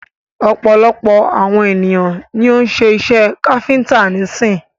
Ọ̀pọ̀lọpọ̀ àwon ènìyàn ni o ń́ ṣe iṣẹ káfíńńtà nísin.